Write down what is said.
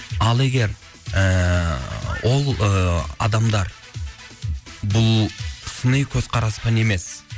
ал егер ыыы ол ы адамдар бұл сыни көзқараспен емес